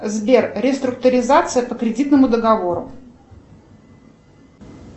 сбер реструктуризация по кредитному договору